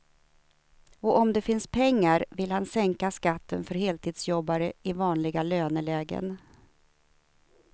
Och om det finns pengar vill han sänka skatten för heltidsjobbare i vanliga lönelägen.